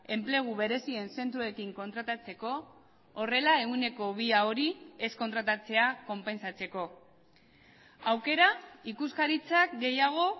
enplegu berezien zentroekin kontratatzeko horrela ehuneko bia hori ez kontratatzea konpentsatzeko aukera ikuskaritzak gehiago